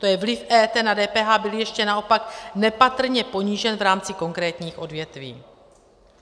To je, vliv EET na DPH byl ještě naopak nepatrně ponížen v rámci konkrétních odvětví.